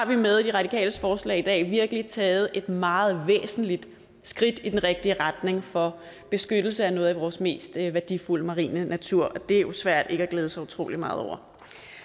vi med de radikales forslag i dag virkelig har taget et meget væsentligt skridt i den rigtige retning for beskyttelse af noget af vores mest værdifulde marine natur og det er jo svært ikke at glæde sig utrolig meget over